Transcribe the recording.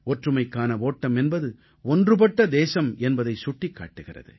ஒற்றுமைக்கான ஓட்டம் என்பது ஒன்றுபட்ட தேசம் என்பதைச் சுட்டிக் காட்டுகிறது